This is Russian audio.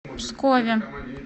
пскове